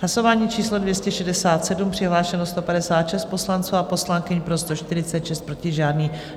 Hlasování číslo 267, přihlášeno 156 poslanců a poslankyň, pro 146, proti žádný.